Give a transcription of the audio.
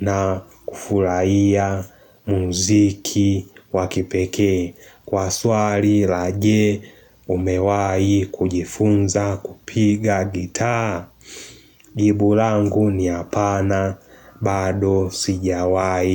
na kufurahia muziki wa kipekee. Kwa swali la je, umewahi kujifunza kupiga gitaa? Jibu langu ni hapana, bado sijawahi.